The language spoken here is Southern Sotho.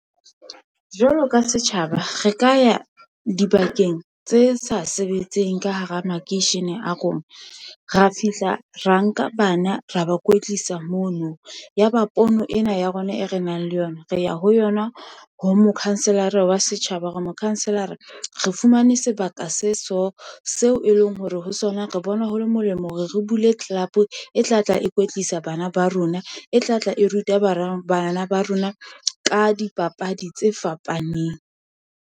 Jwalo ka setjhaba, re ka ya dibakeng tse sa sebetseng ka hara makeishene a rona, ra fihla ra nka bana ra ba kwetlisa mono. Yaba pono ena ya rona e re nang le yona, re ya ho yona ho mokhanselara wa setjhaba, hore mokhanselara re fumane sebaka se so, seo e leng hore ho sona re bona ho le molemo hore re bule club, e tlatla e kwetlisa bana ba rona, e tlatla e ruta bana ba rona ka dipapadi tse fapaneng.